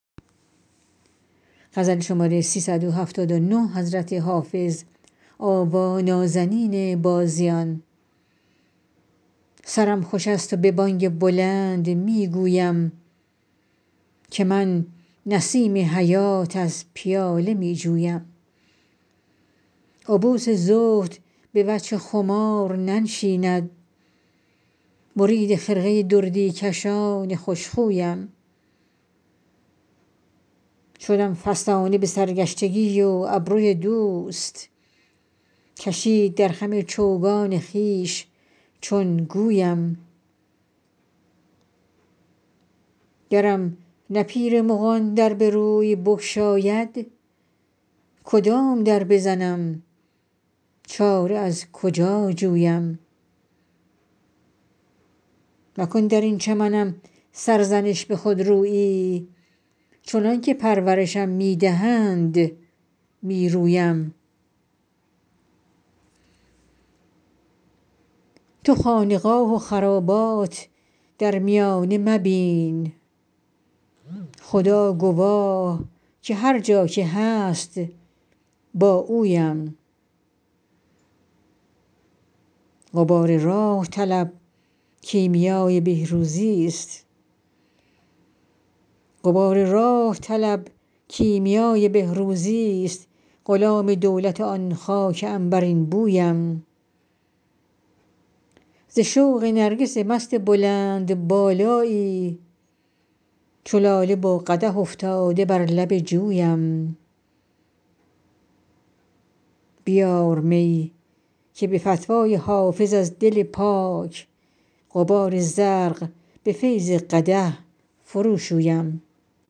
سرم خوش است و به بانگ بلند می گویم که من نسیم حیات از پیاله می جویم عبوس زهد به وجه خمار ننشیند مرید خرقه دردی کشان خوش خویم شدم فسانه به سرگشتگی و ابروی دوست کشید در خم چوگان خویش چون گویم گرم نه پیر مغان در به روی بگشاید کدام در بزنم چاره از کجا جویم مکن در این چمنم سرزنش به خودرویی چنان که پرورشم می دهند می رویم تو خانقاه و خرابات در میانه مبین خدا گواه که هر جا که هست با اویم غبار راه طلب کیمیای بهروزیست غلام دولت آن خاک عنبرین بویم ز شوق نرگس مست بلندبالایی چو لاله با قدح افتاده بر لب جویم بیار می که به فتوی حافظ از دل پاک غبار زرق به فیض قدح فروشویم